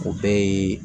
O bɛɛ ye